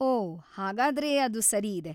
ಓಹ್‌, ಹಾಗಾದ್ರೆ ಅದು ಸರಿ ಇದೆ.